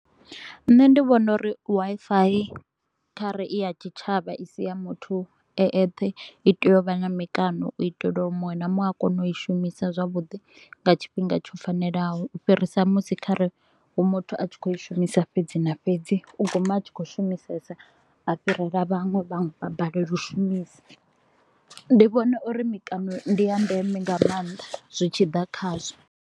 Nṋe ndi vhona uri Wi-Fi kha re i ya tshitshavha i si ya muthu e ethe, i tea u vha na mikano u itela uri muṅwe na muṅwe a kone u i shumisa zwavhuḓi nga tshifhinga tsho fanelaho, u fhirisa musi kha re hu muthu a tshi kho i shumisa fhedzi na fhedzi. U guma a tshi kho u shumisesa, a fhirela vhaṅwe, vhanwe vha balelwa u shumisa. Ndi vhona uri mikano ndi ya ndeme nga maanḓa zwi tshi ḓa khazwo.